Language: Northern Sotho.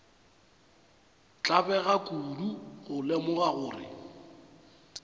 tlabega kudu go lemoga gore